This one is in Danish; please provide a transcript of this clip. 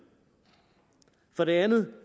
for det andet